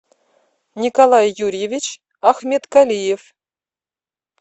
николай юрьевич ахметкалиев